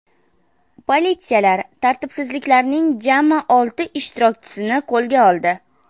Politsiyalar tartibsizliklarning jami olti ishtirokchisini qo‘lga oldi.